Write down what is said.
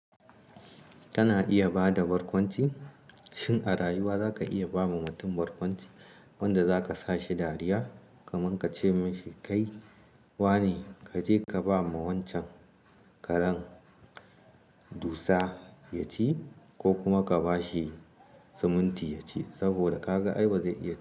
Kana iya ba da barkwanci, shin a rayuwa za ka iya ba wa mutum barkwanci wanda za ka sa shi dariya, kaman ka ce mibshi kai wa ne ka je ka ba ma wancan karen dusa ya ci ko kuma ka ba shi siminti ya ci saboda ka ga ai bazai iya.